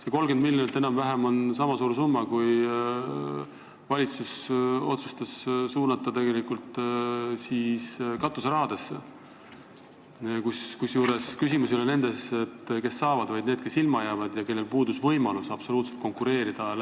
See 30 miljonit on enam-vähem niisama suur summa, kui valitsus otsustas suunata katuserahadesse, kusjuures küsimus ei ole nendes, kes saavad, vaid nendes, kes ilma jäävad ja kellel puudus võimalus läbipaistvalt konkureerida.